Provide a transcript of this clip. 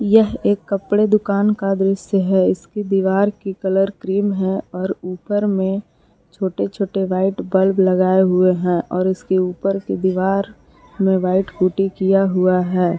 यह एक कपड़े दुकान का दृश्य है इसके दीवार की कलर क्रीम है और ऊपर में छोटे छोटे व्हाइट बल्ब लगाए हुए हैं और उसके ऊपर की दीवार में व्हाइट पुट्टी किया हुआ है।